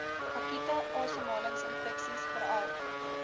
akute asemhalingsinfeksies veral